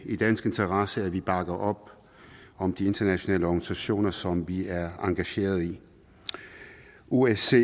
i dansk interesse at vi bakker op om de internationale organisationer som vi er engageret i osce